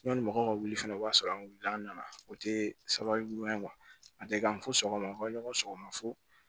Yanni mɔgɔw ka wuli fɛnɛ o b'a sɔrɔ an wulila an nana o tɛ sababu ɲuman ye a tɛ kan fo sɔgɔma an ka ɲɔgɔn sɔgɔma fo